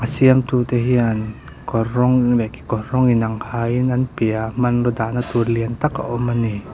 siamtute hian kawr rawng leh kekawr rawng inang hain an piahah hmanraw dahna tur lian tak a awm a ni.